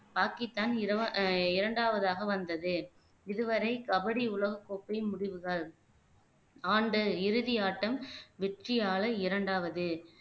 பாகிஸ்தான் இரவ ஆஹ் இரண்டாவதாக வந்தது இதுவரை கபடி உலகக் கோப்பை முடிவுகள் ஆண்டு இறுதி ஆட்டம் வெற்றியாள இரண்டாவது